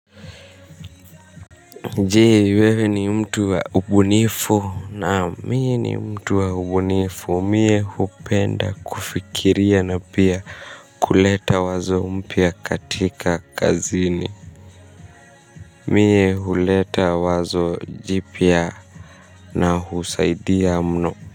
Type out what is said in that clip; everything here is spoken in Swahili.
Je, wewe ni mtu wa ubunifu? Naam mie ni mtu wa ubunifu, mie hupenda kufikiria na pia kuleta wazo mpya katika kazini, mie huleta wazo jipya na husaidia mno.